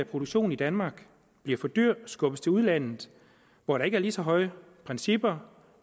produktionen i danmark bliver for dyr og skubbes til udlandet hvor der ikke er lige så høje principper